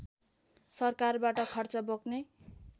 सरकारबाट खर्च बोक्ने